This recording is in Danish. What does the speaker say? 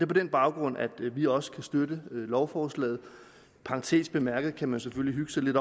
på den baggrund at vi også kan støtte lovforslaget i parentes bemærket kan man selvfølgelig hygge sig lidt